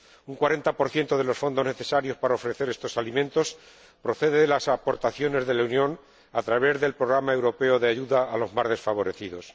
Un 40 de los fondos necesarios para ofrecer estos alimentos procede de las aportaciones de la Unión, a través del Plan Europeo de Ayuda a los Más Desfavorecidos.